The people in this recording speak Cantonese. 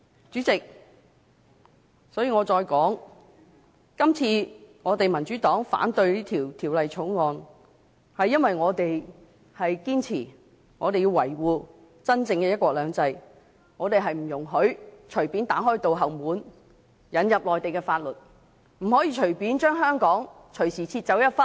主席，我重申，民主黨反對這項《條例草案》，是因為我們堅持要維護真正的"一國兩制"，我們不容許隨便打開後門，引入內地法律，不可以隨便將香港割去一部分。